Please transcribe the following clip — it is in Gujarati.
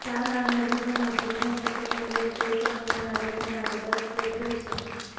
સાન મરિનોમાં જિજ્ઞાસા સંગ્રહાલય કોઈપણ ઉંમરના લોકો માટે રસપ્રદ રહેશે